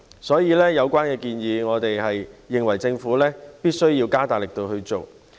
所以，對於有關建議，我們認為政府必須加大力度去做。